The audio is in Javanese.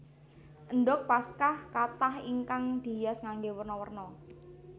Endhog Paskah kathah ingkang dihias nganggé werna werna